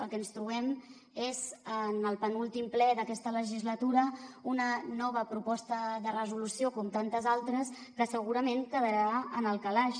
el que ens trobem és en el penúltim ple d’aquesta legislatura una nova proposta de resolució com tantes altres que segurament quedarà en el calaix